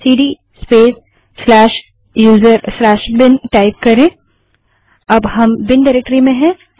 CD space user bin CD space U S R bin type करें अब हम बिन डाइरेक्टरी में हैं